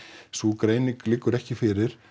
sú greining liggur ekki fyrir